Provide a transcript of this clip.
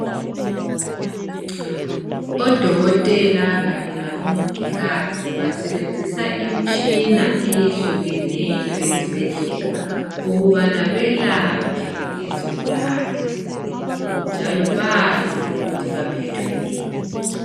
Odokotela kanye labo mongikazi basebenzisa imtshina eyehlukeneyo ezibhedlela ukubana belaphe izigulane njalo bazi ukuthi baphethwe yini.